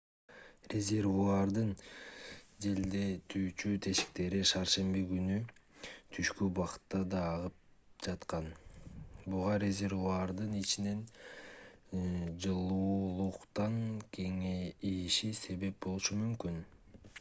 резервуардын желдетүүчү тешиктери шаршемби күнү түшкү убакта да агып жаткан буга резервуардын ичинин жылуулуктан кеңейиши себеп болушу мүмкүн